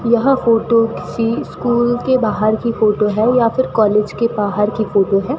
यह फोटो किसी स्कूल के बाहर की फोटो है या फिर कॉलेज के बाहर की फोटो है।